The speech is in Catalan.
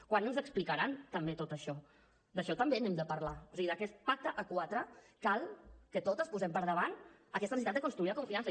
quan ens explicaran també tot això d’això també n’hem de parlar o sigui d’aquest pacte a quatre cal que totes posem per davant aquesta necessitat de construir la confiança